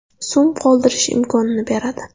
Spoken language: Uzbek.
so‘m qoldirish imkonini beradi.